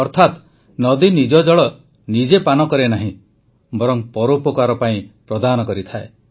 ଅର୍ଥାତ୍ ନଦୀ ନିଜ ଜଳ ନିଜେ ପାନ କରେ ନାହିଁ ବରଂ ପରୋପକାର ପାଇଁ ପ୍ରଦାନ କରେ